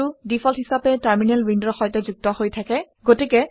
Standardout টো default হিচাপে terminal উইণ্ডৰ সৈতে যুক্ত হৈ থাকে